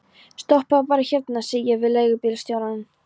Stoppaðu bara hérna, segi ég við leigubílstjórann.